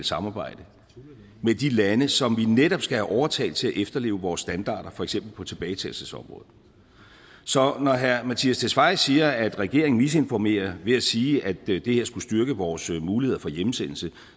samarbejde med de lande som vi netop skal have overtalt til at efterleve vores standarder for eksempel på tilbagetagelsesområdet så når herre mattias tesfaye siger at regeringen misinformerer ved at sige at det det her skulle styrke vores muligheder for hjemsendelse